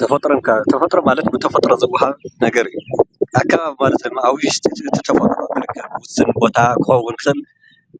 ተፈጥሮን ከባብን፦ ተፈጥሮ ማለት ብተፈጥሮ ዝዋሃብ ነገር እዩ። ኣከባቢ ኣብ ውሽጢ እቱ ተፈጥሮ ዝርከብ ውስን ቦታ ከም